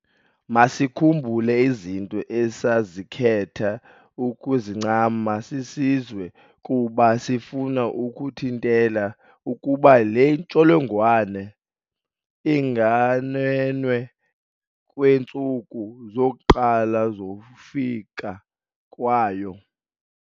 Masikhumbule izinto esazikhetha ukuzincama sisizwe kuba sifuna ukuthintela ukuba le ntsholongwane inganwenwi kwiintsuku zokuqala zokufika kwayo.